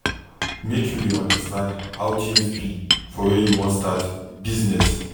Make you dey understand how tins be for where you wan start business.